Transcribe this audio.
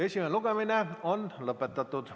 Esimene lugemine on lõpetatud.